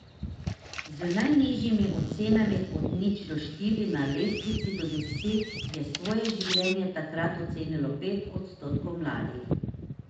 Z najnižjimi ocenami od nič do štiri na lestvici do deset je svoje življenje takrat ocenilo pet odstotkov mladih.